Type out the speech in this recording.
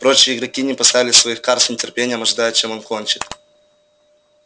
прочие игроки не поставили своих карт с нетерпением ожидая чем он кончит